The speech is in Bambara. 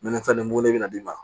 Minɛn tan nin bugun de bɛna d'i ma